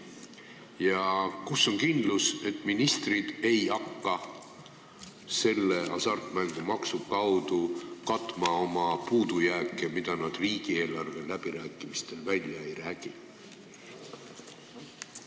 Ja kus on kindlus, et ministrid ei hakka hasartmängumaksu kaudu katma oma puudujääke, mille jaoks nad riigieelarve läbirääkimistel raha välja ei räägi?